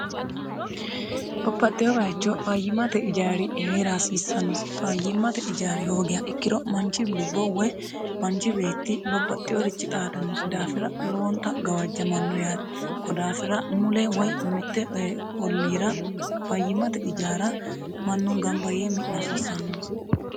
babbaxxewo bayecho fayyimate ijari hee're hasiissannosi fayyimmate ijaari hoogiha ikkiro manchi lubbo woy manchi beetti babbaxxinorichi xaadannosi daafira lowonta gawajjamanno yaate kodaafira mule woy mitte olliira fayyimate ijaara mannu gamba yee mi'na hasiissannonsa